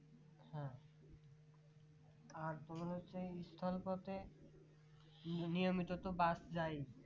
আর কোনমতে স্থান পথে নিয়মিত তো bus যায়